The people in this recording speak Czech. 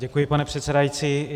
Děkuji, pane předsedající.